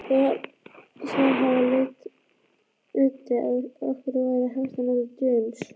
Þar af leiddi að ekki væri hægt að nota James